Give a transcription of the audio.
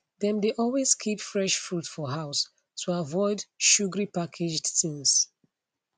dem dey always keep fresh fruit for house to avoid sugary packaged things